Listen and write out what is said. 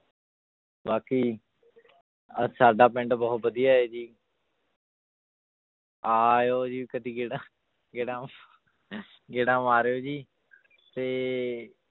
ਬਾਕੀ ਅਹ ਸਾਡਾ ਪਿੰਡ ਬਹੁਤ ਵਧੀਆ ਹੈ ਜੀ ਆਇਓ ਜੀ ਕਦੇ ਗੇੜਾ ਗੇੜਾ ਗੇੜਾ ਮਾਰਿਓ ਜੀ ਤੇ